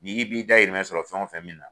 Ni b'i da yirimɛ sɔrɔ fɛn wo fɛn min na